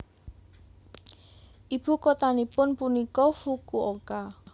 Ibu kotanipun punika Fukuoka